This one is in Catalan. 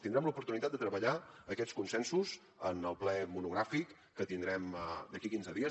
tindrem l’oportunitat de treballar aquests consensos en el ple monogràfic que tindrem d’aquí quinze dies